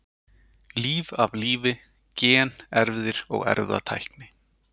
Líf af lífi: Gen, erfðir og erfðatækni.